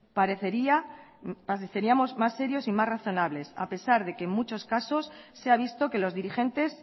pareceríamos más serios y más razonables a pesar que en muchos casos se ha visto que los dirigentes